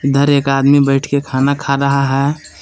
इधर एक आदमी बैठ के खाना खा रहा है।